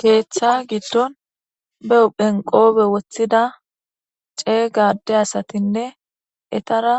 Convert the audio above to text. Ketha giidon ba huphen qophe woxida cega ade asatinee etara